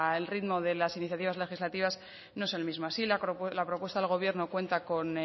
el ritmo de las iniciativas legislativas no es el mismo así la propuesta del gobierno cuenta con